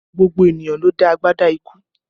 Gbogbo ènìyàn ló dá agbádá ikú